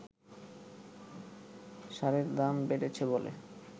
সারের দাম বেড়েছে বলে